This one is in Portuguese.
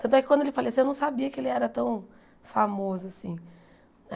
Tanto é que, quando ele faleceu, eu não sabia que ele era tão famoso assim.